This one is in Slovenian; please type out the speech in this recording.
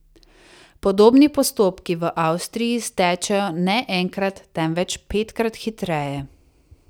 Podobni postopki v Avstriji stečejo ne enkrat, temveč petkrat hitreje.